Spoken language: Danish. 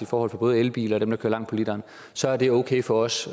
forhold for både elbiler og dem der kører langt på literen så er det okay for os